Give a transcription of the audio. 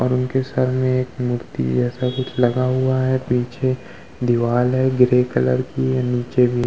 और उनके सर में एक मूर्ति जैसा कुछ लगा हुआ है। पीछे दीवार है ग्रे कलर की --